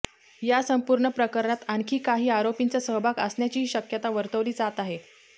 या संपूर्ण प्रकरणात आणखी काही आरोपींचा सहभाग असण्याचीही शक्यता वर्तवली जात आहे